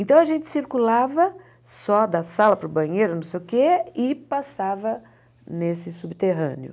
Então, a gente circulava só da sala para o banheiro, não sei o quê, e passava nesse subterrâneo.